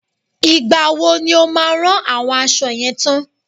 Ìgbà wo ni o máa rán àwọn àwọn aṣọ yẹn tán?